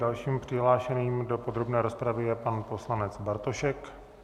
Dalším přihlášeným do podrobné rozpravy je pan poslanec Bartošek.